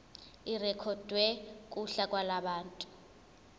irekhodwe kuhla lwabantu